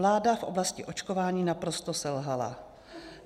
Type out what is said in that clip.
Vláda v oblasti očkování naprosto selhala.